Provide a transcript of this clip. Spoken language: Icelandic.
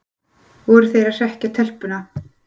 Voru þeir að hrekkja telpuna?